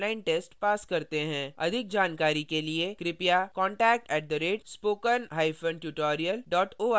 अधिक जानकारी के लिए कृपया contact at spoken hyphen tutorial dot org पर लिखें